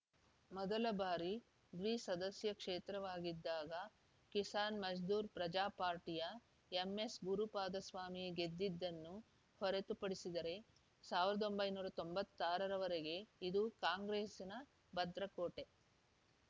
ಮೊದಲ ಬಾರಿ ದ್ವಿಸದಸ್ಯ ಕ್ಷೇತ್ರವಾಗಿದ್ದಾಗ ಕಿಸಾನ್‌ ಮಜ್ದೂರ್‌ ಪ್ರಜಾ ಪಾರ್ಟಿಯ ಎಂಎಸ್‌ಗುರುಪಾದಸ್ವಾಮಿ ಗೆದ್ದಿದ್ದನ್ನು ಹೊರತುಪಡಿಸಿದರೆ ಸಾವಿರದ ಒಂಬೈನೂರ ತೊಂಬತ್ತ್ ಆರ ರವರೆಗೆ ಇದು ಕಾಂಗ್ರೆಸ್‌ನ ಭದ್ರಕೋಟೆ